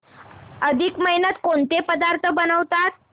अधिक महिन्यात कोणते पदार्थ बनवतात